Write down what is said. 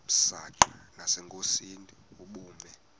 msanqa nasenkosini ubume